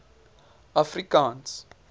afrikaans